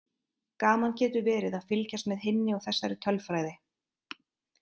Gaman getur verið að fylgjast með hinni og þessari tölfræði.